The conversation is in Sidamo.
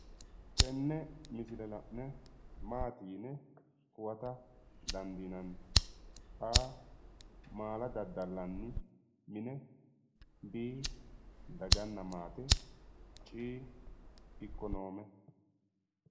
Tenne misile la'ne maati yine huwata dandiinanni? a. maala daddallanni mine b. daganna maate c. ikkonoome